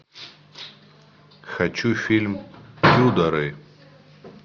хочу фильм тюдоры